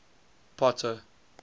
potter